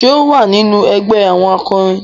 Ṣe o wà nínú ẹgbẹ àwọn akorin?